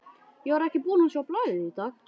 Ég var ekki búinn að sjá blaðið í dag.